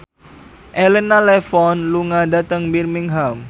Elena Levon lunga dhateng Birmingham